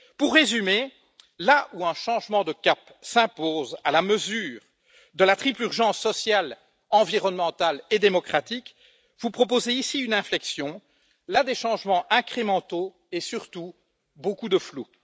Pour résumer, là où un changement de cap s'impose à la mesure de la triple urgence sociale, environnementale et démocratique, vous proposez ici une inflexion, là des changements incrémentaux et, surtout, beaucoup de flou.